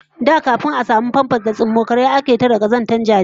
Da kafin a samu famfas da tsummokara ake tare kazantar jarirai